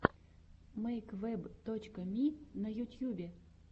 мэйквэб точка ми на ютьюбе